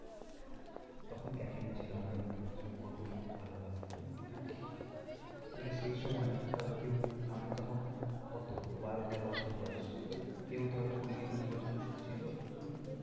তখন ক্যাটরিনা ছিল আমরা কত ভালো লাগতো হম হ্যাঁ এবারে সেই সময় ধর কেউ আমরা তখন কত বারো তেরো বছর বয়স হম কেউ ধর কুড়ি একুশ বছরেরও তো ছিল হম